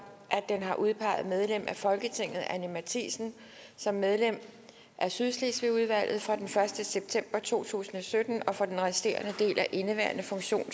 at den har udpeget medlem af folketinget anni matthiesen som medlem af sydslesvigudvalget fra den første september to tusind og sytten og for den resterende del af indeværende